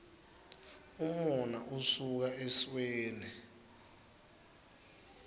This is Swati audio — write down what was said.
umona usuka esweni